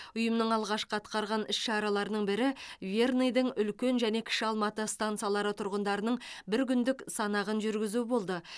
ұйымның алғашқы атқарған іс шараларының бірі верныйдың үлкен және кіші алматы стансалары тұрғындарының бір күндік санағын жүргізу болды